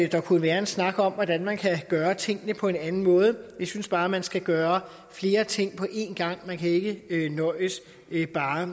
der kunne være en snak om hvordan man kan gøre tingene på en anden måde vi synes bare at man skal gøre flere ting på en gang man kan ikke ikke nøjes med bare